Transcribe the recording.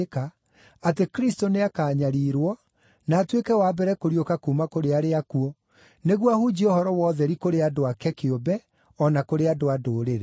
atĩ Kristũ nĩakanyariirwo, na atuĩke wa mbere kũriũka kuuma kũrĩ arĩa akuũ, nĩguo ahunjie ũhoro wa ũtheri kũrĩ andũ aake kĩũmbe o na kũrĩ andũ-a-Ndũrĩrĩ.”